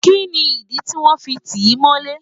Kini idi tí wọ́n fi ti í mọ́lé?